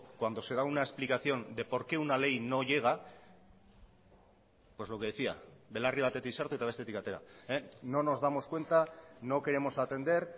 cuando se da una explicación de porque una ley no llega pues lo que decía belarri batetik sartu eta bestetik atera no nos damos cuenta no queremos atender